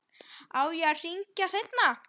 Á ég að hringja seinna?